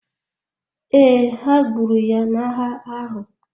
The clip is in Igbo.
Ee, ha gburu ya n’agha ahụ.